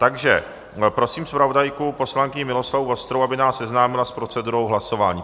Takže prosím zpravodajku poslankyni Miloslavu Vostrou, aby nás seznámila s procedurou hlasování.